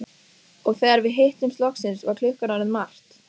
Fréttamaður: Þú sækir enn þá þorrablót hjá Framsóknarflokknum?